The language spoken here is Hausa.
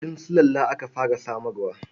Kuɗin sulalla aka fara samarwa.